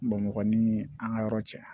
Bamakɔ ni an ka yɔrɔ cɛ